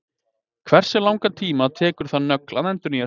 hversu langan tíma tekur það nögl að endurnýja sig